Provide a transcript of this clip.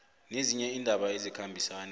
nezinye iindaba ezikhambisana